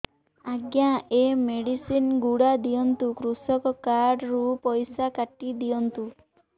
ଆଜ୍ଞା ଏ ମେଡିସିନ ଗୁଡା ଦିଅନ୍ତୁ କୃଷକ କାର୍ଡ ରୁ ପଇସା କାଟିଦିଅନ୍ତୁ